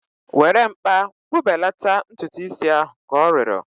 Were mkpa kpụbelata ntutu is ahu! Ka ọ rịọrọ